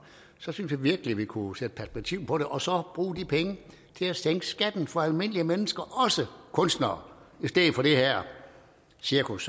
så synes jeg virkelig vi kunne sætte perspektiv på det og så bruge de penge til at sænke skatten for almindelige mennesker også kunstnere i stedet for det her cirkus